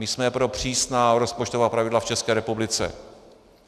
My jsme pro přísná rozpočtová pravidla v České republice.